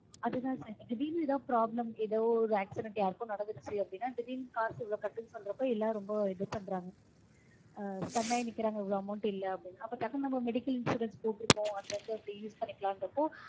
அதுதா sir திடீர்னு ஏதாவது problem ஏதோ ஒரு accident யார்க்கோ நடந்திருச்சு அப்படீன்னா திடீர்னு காசு இவ்வளவு கட்டுன்னு சொல்றப்போ எல்லாரும் ரொம்ப இது பண்றாங்க. stun ஆய் நிக்கறாங்க இவ்வளவு amount இல்ல அப்படீன்னு. அப்போ டக்குனு நம்ம medical insurance போட்டிருக்கோம் அதுல இருந்து அப்படியே use பண்ணிக்கலான்றப்போ